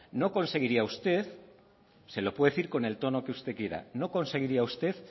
no conseguiría usted se lo puedo decir usted con el tono que usted quiera no conseguiría usted